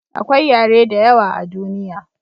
akwai yare da yawa a duniya